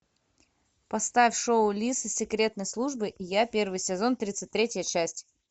поставь шоу лис из секретной службы и я первый сезон тридцать третья часть